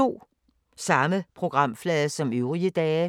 Samme programflade som øvrige dage